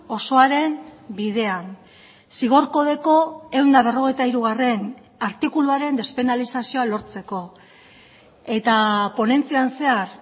osoaren bidean zigor kodeko ehun eta berrogeita hirugarrena artikuluaren despenalizazioa lortzeko eta ponentzian zehar